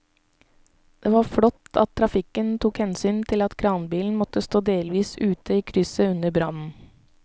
Det var flott at trafikken tok hensyn til at kranbilen måtte stå delvis ute i krysset under brannen.